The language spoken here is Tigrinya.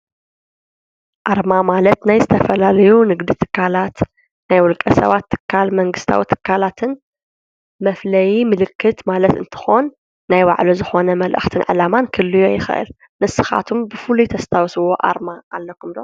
ኣርማ ማለት ናይ ዝተፈላለዩ ንግዲ ትካላት ናይ ውልቀ ሰባት ትካላትን መንግስታዊ ትካላትን መፍለይ ምልክት ማለት እንትኮን ናይ ባዕሉ ዝኮነ መልእክትን ዕላማን ክህልዎ ይክእል፡፡ ንስካትኩም ብፉሉይ እተስተውስዎ ኣርማ ኣለኩም ዶ?